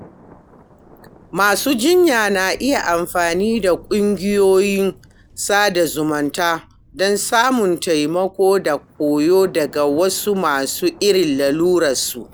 Masu jinya na iya amfani da kungiyoyin sada zumunta don samun taimako da koyo daga wasu masu irin lalurarsu.